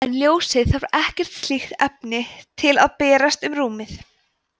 en ljósið þarf ekkert slíkt efni til að berast um rúmið